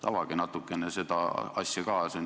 Avage natukene seda teemat ka!